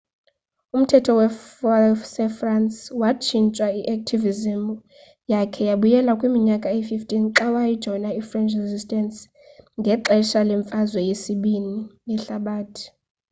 umthetho wasefrance watshintshwa. i-activism yakhe yabuyela kwiminyaka eyi-15 xa wajoyina i-french resistance ngexesha lemfazwe yesibini ii yehlabathi